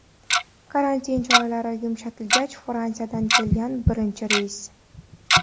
Karantin choralari yumshatilgach Fransiyadan kelgan birinchi reys.